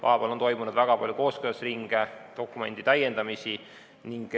Vahepeal on toimunud väga palju kooskõlastusringe ja dokumendi täiendamisi.